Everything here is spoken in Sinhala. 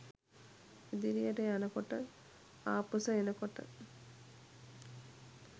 ඉදිරියට යන කොට ආපුස එන කොට